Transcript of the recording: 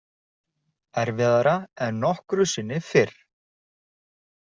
Erfiðara en nokkru sinni fyrr.